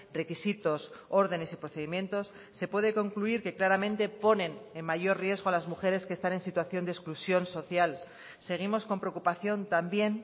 requisitos órdenes y procedimientos se puede concluir que claramente ponen en mayor riesgo a las mujeres que están en situación de exclusión social seguimos con preocupación también